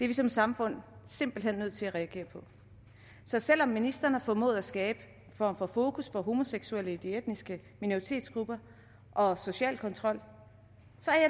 vi som samfund simpelt hen nødt til at reagere på så selv om ministeren har formået at skabe en form for fokus på homoseksuelle i de etniske minoritetsgrupper og social kontrol